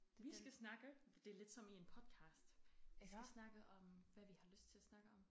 Vi skal snakke det lidt som i en podcast vi skal snakke om hvad vi har lyst til at snakke om